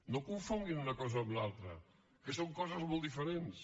no confonguin una cosa amb l’altra que són coses molt diferents